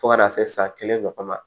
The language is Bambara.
Fo ka taa se san kelen ɲɔgɔn ma